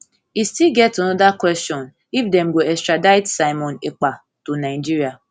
e still get anoda kwesion if dem go extradite simon ekpa to nigeria